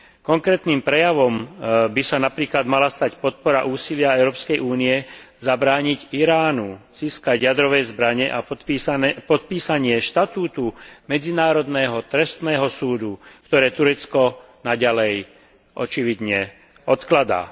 Konkrétnym prejavom by sa napríklad mala stať podpora úsilia Európskej únie zabrániť Iránu získať jadrové zbrane a podpísanie štatútu Medzinárodného trestného súdu, ktoré Turecko naďalej očividne odkladá.